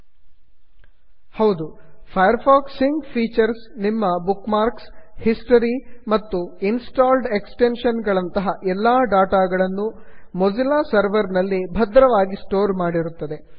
Firefox sync features Firefox sync features ನಿಮ್ಮ bookmarks history ಮತ್ತು installed extension ಗಳಂತಹ ಎಲ್ಲಾ ಡಾಟಾಗಳನ್ನೂ ಮೊಝಿಲ್ಲಾ ಸರ್ವರ್ ನಲ್ಲಿ ಭದ್ರವಾಗಿ ಸ್ಟೋರ್ ಮಾಡಿರುತ್ತದೆ